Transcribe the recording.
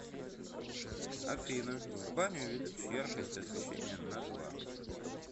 афина в бане увеличь яркость освещения на два